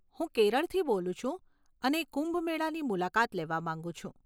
હું કેરળથી બોલું છું અને કુંભ મેળાની મુલાકાત લેવા માંગું છું.